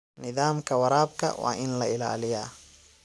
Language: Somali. Nidaamka waraabka waa in la ilaaliyaa.